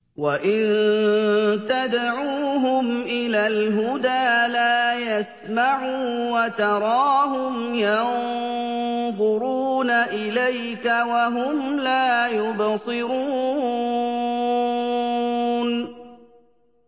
وَإِن تَدْعُوهُمْ إِلَى الْهُدَىٰ لَا يَسْمَعُوا ۖ وَتَرَاهُمْ يَنظُرُونَ إِلَيْكَ وَهُمْ لَا يُبْصِرُونَ